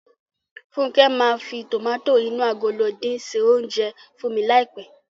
Fúnkẹ́ máa fi tòmátò inú agolo dín se oúnjẹ fún mi ní àìpé.